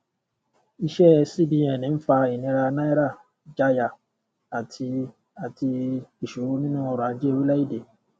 iṣẹ cbn ń fa ìníra náírà ìjáàyà àti àti ìṣòro nínú ọrọ ajé orílẹèdè